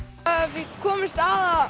við komumst að